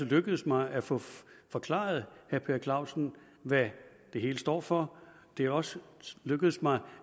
lykkedes mig at få forklaret herre per clausen hvad det hele står for det er også lykkedes mig